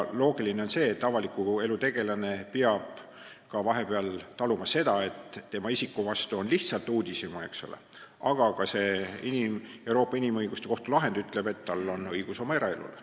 Loogiline on see, et avaliku elu tegelane peab vahepeal taluma seda, et tema isiku vastu on lihtsalt uudishimu, aga Euroopa Inimõiguste Kohtu lahend ütleb, et tal on ka õigus eraelule.